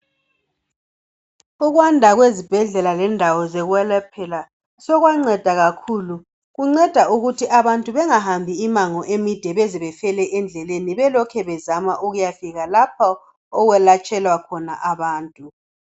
Ukwanda kwezibhedlela lendawo zekwelephelwa sokwanceda kakhulu kunceda ukuthi abantu bengahambi imango emide baze bafele endleleni belokhu bezama ukuyafika lapha okweletshelwa khona abantu.